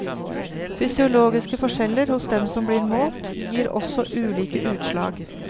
Fysiologiske forskjeller hos dem som blir målt, gir også ulike utslag.